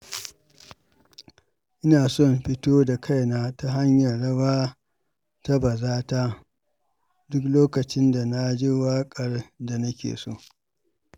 Ina son fito da kaina ta hanyar rawa ta bazata duk lokacin da na ji waƙar da nake so.